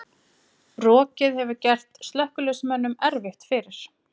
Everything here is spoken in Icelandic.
Rokið hefur gert slökkviliðsmönnum erfitt fyrir